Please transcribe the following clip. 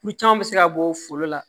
Kulu caman bɛ se ka bɔ foro la